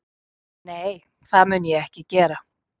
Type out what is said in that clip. Nei, það mun ég ekki gera